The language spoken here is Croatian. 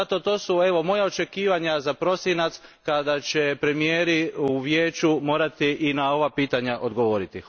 Zato to su moja očekivanja za prosinac kada će premijeri u Vijeću morati i na ova pitanja odgovoriti.